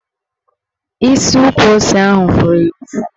Isi ukwu ose ahụ fụrụ ya ụfụ